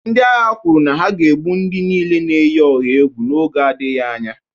Ndị agha kwuru na a ga-egbu ndị niile na-eyi ọha egwu n'oge na-adịghị anya